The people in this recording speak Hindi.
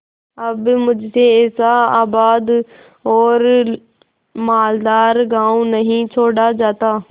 अब मुझसे ऐसा आबाद और मालदार गॉँव नहीं छोड़ा जाता